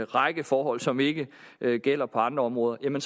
række forhold som ikke gælder på andre områder